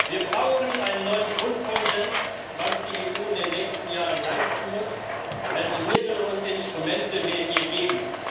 Wir brauchen einen neuen Grundkonsens, was die EU in den nächsten Jahren leisten muss, welche Mittel und Instrumente wir ihr geben.